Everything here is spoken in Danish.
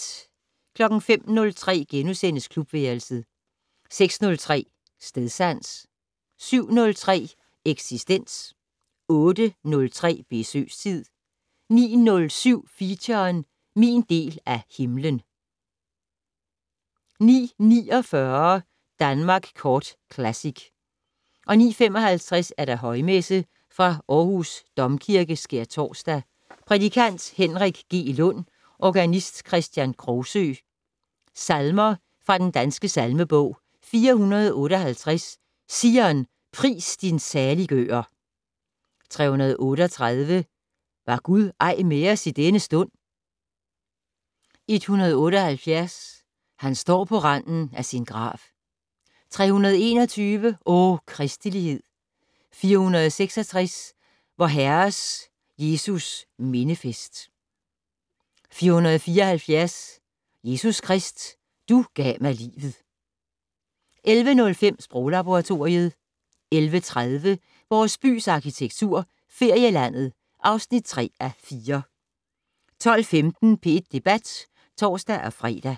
05:03: Klubværelset * 06:03: Stedsans 07:03: Eksistens 08:03: Besøgstid 09:07: Feature: Min del af himmelen 09:49: Danmark Kort Classic 09:55: Højmesse - Fra Aarhus Domkirke. Skærtorsdag. Prædikant: Henrik G. Lund. Organist: Kristian Krogsøe. Salmer fra Den Danske Salmebog: 458 "Zion, pris din saliggører". 338 "Var Gud ej med os denne stund". 178 "Han står på randen af sin grav". 321 "O Kristelighed". 466 "Vor Herres Jesus mindefest". 474 "Jesus Krist, du gav mig livet". 11:05: Sproglaboratoriet 11:30: Vores bys arkitektur - Ferielandet (3:4) 12:15: P1 Debat (tor-fre)